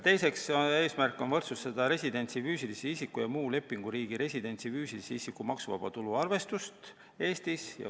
Teine eesmärk on võrdsustada residendist füüsilise isiku ja muu lepinguriigi residendist füüsilise isiku maksuvaba tulu arvestus Eestis.